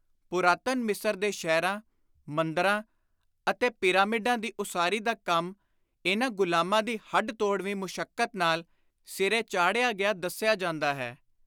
ਪੁਰਾਤਨ ਮਿਸਰ ਦੇ ਸ਼ਹਿਰਾਂ, ਮੰਦਰਾਂ ਅਤੇ ਪਿਰਾਮਿਡਾਂ ਦੀ ਉਸਾਰੀ ਦਾ ਕੰਮ ਇਨ੍ਹਾਂ ਗੁਲਾਮਾਂ ਦੀ ਹੱਡ-ਤੋੜਵੀਂ ਮੁਸ਼ਕਤ ਨਾਲ ਸਿਰੇ ਚਾੜ੍ਹਿਆ ਗਿਆ ਦੱਸਿਆ ਜਾਂਦਾ ਹੈ।